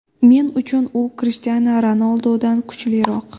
Men uchun u Krishtianu Ronaldudan kuchliroq.